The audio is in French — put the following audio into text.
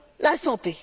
la santé.